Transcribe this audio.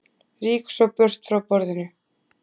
Rýk svo burt frá borðinu.